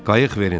Qayıq verildi.